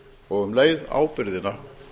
og um leið ábyrgðina